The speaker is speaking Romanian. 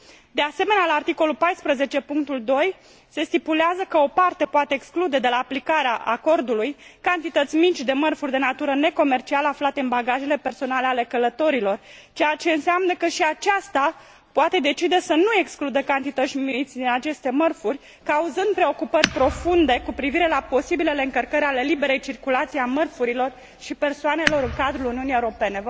De asemenea, la articolul 14 punctul 2, se stipulează că o parte poate exclude de la aplicarea acordului cantități mici de mărfuri de natură necomercială aflate în bagajele personale ale călătorilor, ceea ce înseamnă că și aceasta poate decide să nu excludă cantități din aceste mărfuri, cauzând preocupări profunde cu privire la posibilele încălcări ale liberei circulații a mărfurilor și persoanelor în cadrul Uniunii Europene.